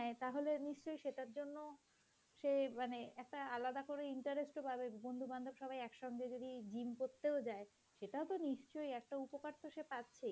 তাহলে নিশ্চয়ই সেটার জন্য সে মানে একটা আলাদা করে একটা interest ও পাবে, বন্ধু-বান্ধব সবাই একসঙ্গে যদি gym করতে যায়, সেটা তো নিশ্চয়ই সে একটা উপকার তো সে পাচ্ছেই,